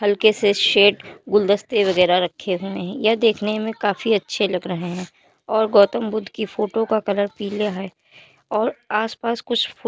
हल्के से शेट गुलदस्ते वगैरह रखे हुए हैं। यह देखने में काफी अच्छे लग रहे हैं और गौतम बुद्ध की फोटो का कलर पीला है और आस-पास कुछ फू --